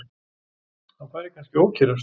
Hann færi kannski að ókyrrast.